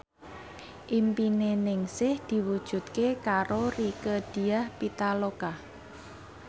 impine Ningsih diwujudke karo Rieke Diah Pitaloka